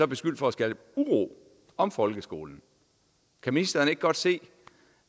beskyldt for at skabe uro om folkeskolen kan ministeren ikke godt se